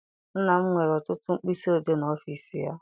Nna m nwere ọtụtụ mkpịsị odee n'ọfịịsi ya.